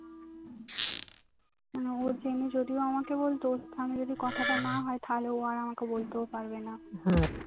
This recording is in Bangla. ও জেনে যদিও আমাকে বলতো তাহলে যদি কথাটা না হয় তাহলে ও আর আমাকে বলতেও পারবেনা